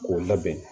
K'o labɛn